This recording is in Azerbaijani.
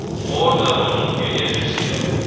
Oradan onun enerjisi yayılır.